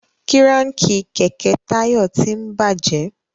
Kíráǹkì kẹ̀kẹ́ Tayo tín bàjé